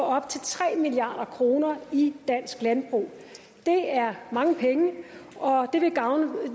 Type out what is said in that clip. op til tre milliard kroner i dansk landbrug det er mange penge og det vil